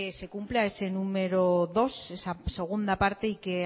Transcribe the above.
se cumpla ese número dos esa segunda parte y que